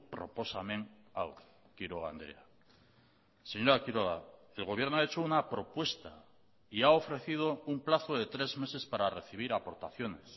proposamen hau quiroga andrea señora quiroga el gobierno ha hecho una propuesta y ha ofrecido un plazo de tres meses para recibir aportaciones